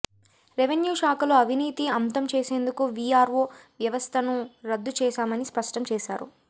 revenue శాఖలో అవినీతి అంతం చేసేందుకు విఆర్వో వ్యవస్థను రద్దు చేశామని స్పష్టం చేసారు